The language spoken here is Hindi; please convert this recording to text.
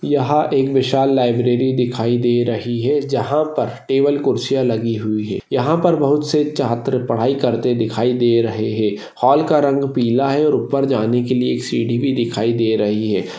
यहा एक विशाल लाइब्ररी दिखाई दे रही है जहा पर टेबल कुर्सिया लगी हुइ है यहा पर बहुत से छात्र पढाई करते दिखाई दे रहे है हॉल का रंग पिला है और उपर जाने के लिये सीढी भि दिखाई दे रहि है।